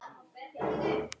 Svo vertu sæl, mín systir!